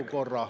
Aeg!